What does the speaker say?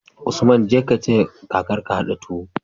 Usman jeka ka taya kakar ka hada tuwo